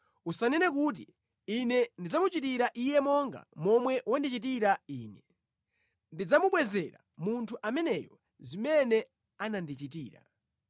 Usanene kuti, “Ine ndidzamuchitira iye monga momwe wandichitira ine; ndidzamubwezera munthu ameneyo zimene anandichitira.”